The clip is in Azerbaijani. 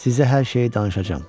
Sizə hər şeyi danışacam.